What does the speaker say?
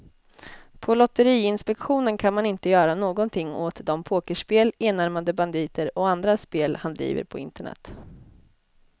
På lotteriinspektionen kan man inte göra någonting åt de pokerspel, enarmade banditer och andra spel han driver på internet.